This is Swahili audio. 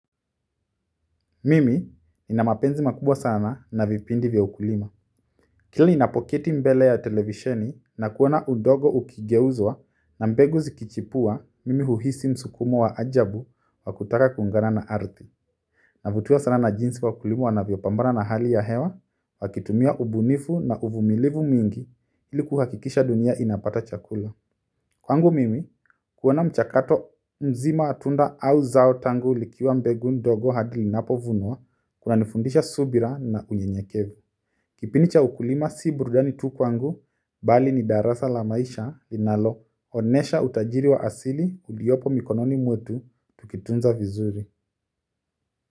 Mimi nina mapenzi makubwa sana na vipindi vya ukulima kila ninapoketi mbele ya televisheni na kuona udogo ukigeuzwa na mbegu zikichipua mimi huhisi msukumo wa ajabu wa kutaka kuungana na ardhi. Navutiwa sana na jinsi wakulima wanavyopambana na hali ya hewa wakitumia ubunifu na uvumilivu mingi ili kuhakikisha dunia inapata chakula kwangu mimi kuona mchakato mzima wa tunda au zao tangu likiwa mbegu ndogo hadi linapovunwa, kunanifundisha subira na unyenyekevu kipindi cha ukulima si burudani tu kwangu bali ni darasa la maisha linaloonesha utajiri wa asili uliopo mikononi mwetu tukitunza vizuri.